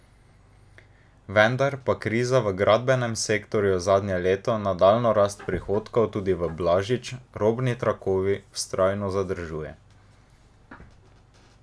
Vendar pa kriza v gradbenem sektorju zadnje leto nadaljnjo rast prihodkov tudi v Blažič, robni trakovi, vztrajno zadržuje.